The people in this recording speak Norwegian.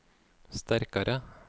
sterkare